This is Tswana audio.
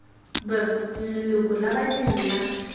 b leloko la badiri la